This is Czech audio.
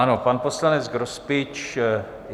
Ano, pan poslanec Grospič...